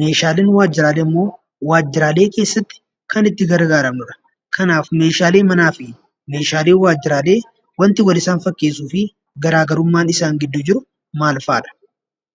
Meeshaaleen waajjiraalee immoo waajjiraalee keessatti kan itti gargaaramnudha. Kanaaf meeshaalee manaa fi meeshaaleen waajjiraalee wanti wal isaan fakkeessuu fi garaa garummaan isaan gidduu jiru maal fa'adha?